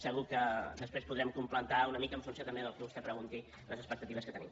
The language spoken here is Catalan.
segur que després podrem completar una mica en funció també del que vostè pregunti les expectatives que tenim